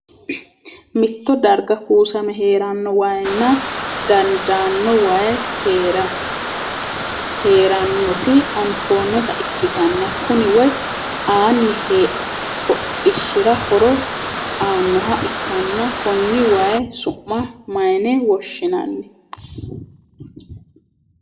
Mitto darga kuussame heeranno wayinna daadano wayi heeranoti anfoonnitta ikitanna kunni woyi aanni hodhishira horo aanoha ikanna konni wayi su'ma mayine woshinnanni?